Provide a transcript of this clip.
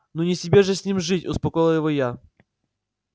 ну не тебе же с ним жить успокоила его я